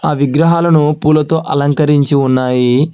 ఆ విగ్రహాలను పూలతో అలంకరించి ఉన్నాయి.